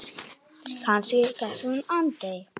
Kannski sleppur hún aldrei.